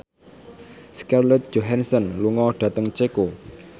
Scarlett Johansson lunga dhateng Ceko